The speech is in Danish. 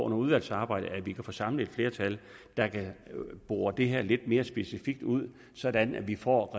under udvalgsarbejdet kan få samlet et flertal der kan bore det her lidt mere specifikt ud sådan at vi får